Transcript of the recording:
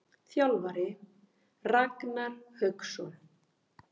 Þjálfari: Ragnar Hauksson.